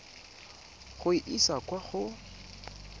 go e isa kwa go